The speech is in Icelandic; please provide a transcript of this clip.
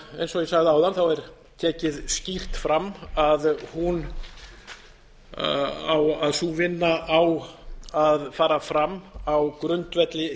eins og ég sagði áðan er tekið skýrt fram að sú vinna á að fara fram á grundvelli